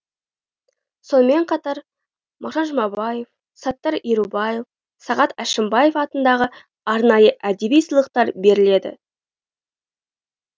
сонымен қатар мағжан жұмабаев саттар ерубаев сағат әшімбаев атындағы арнайы әдеби сыйлықтар беріледі